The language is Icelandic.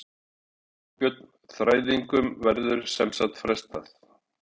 Þorbjörn: Þræðingum verður sem sagt frestað?